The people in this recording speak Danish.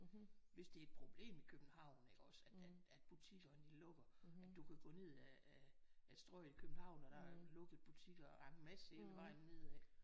Hvis det er et problem i København iggås at at butikkerne de lukker at du kan gå ned ad ad Strøget København og der er lukket butikker og der er en masse hele vejen ned ad